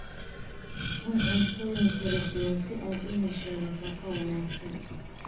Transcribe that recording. Cun cuntooyin kala duwan si aad u hesho nafaqo wanaagsan.